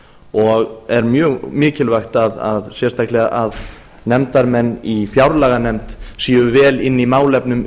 og er mjög mikilvægt sérstaklega að nefndarmenn í fjárlaganefnd séu vel inni í málefnum